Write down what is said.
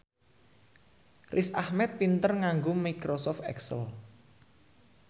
Riz Ahmed pinter nganggo microsoft excel